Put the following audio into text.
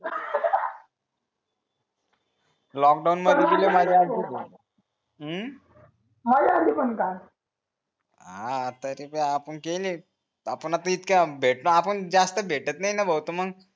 lockdown मध्ये हु मजा आली पण काल तरी बिन आपुन केले आपण आता इतक भेटत आपण जास्त भेटत नाही न भाऊ तर मग